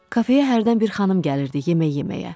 Kafeyə hərdən bir xanım gəlirdi yemək yeməyə.